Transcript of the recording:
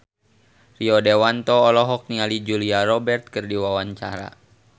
Rio Dewanto olohok ningali Julia Robert keur diwawancara